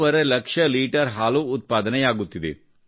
5 lakh litre ಹಾಲು ಉತ್ಪಾದನೆಯಾಗುತ್ತಿದೆ